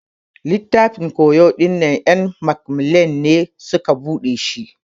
Littafin ƙoyo dinnan en macmillan ne suƙa ɓuga shi.